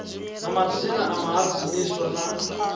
na madzina a vhahadzimiswa na